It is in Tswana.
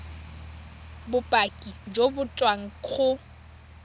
bopaki jo bo tswang go